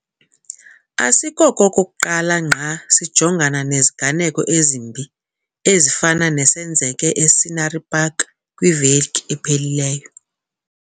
Asikokokuqala ngqa sijongana neziganeko ezimbi ezifana nesenzeke e-Scenery Park kwiveki ephelileyo.